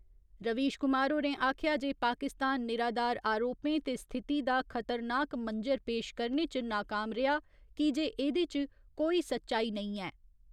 रवीश कुमार होरें आखेआ जे पाकिस्तान निराधार अरोपें ते स्थिति दा खतरनाक मंजर पेश करने च नाकाम रेआ की जे एहदे च कोई सच्चाई नेईं ऐ।